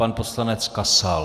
Pan poslanec Kasal.